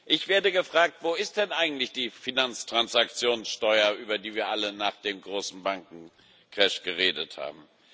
Ich werde gefragt Wo ist denn eigentlich die Finanztransaktionssteuer, über die wir alle nach dem großen Bankencrash geredet haben?